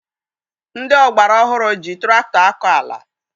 Ndị ọgbara ọhụrụ ji tụrakụtọ akọ ala.